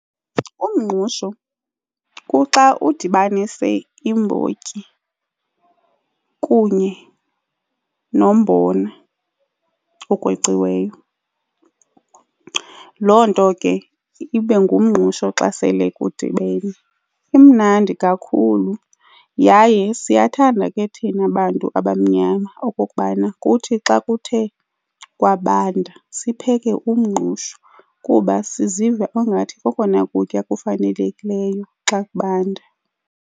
Umngqusho kuxa udibanise iimbotyi kunye nombona okweciweyo, loo nto ke ibe ngumngqusho xa sele kudibene. Imnandi kakhulu yaye siyathanda ke thina bantu abamnyama okokubana kuthi xa kuthe kwabanda sipheke umngqusho kuba siziva ungathi kokona kutya kufanelekileyo xa kubanda.